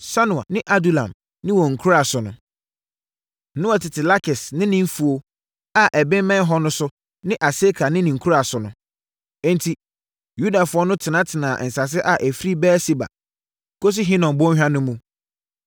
Sanoa ne Adulam ne wɔn nkuraa so nso. Na wɔtete Lakis ne ne mfuo a ɛbemmɛn hɔ no so ne Aseka ne ne nkuraa so nso. Enti, Yudafoɔ no tenatena nsase a ɛfiri Beer-Seba kɔsi Hinom bɔnhwa no mu.